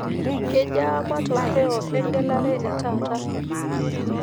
kejaa matokeo egelare e taata